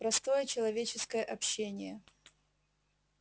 простое человеческое общение